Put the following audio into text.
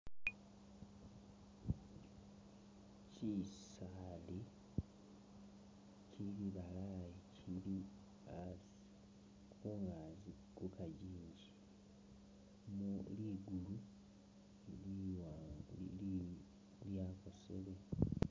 Kisaali kibalayi kili asi kungaagi ku kajinji mu ligulu liwa li lyakosele.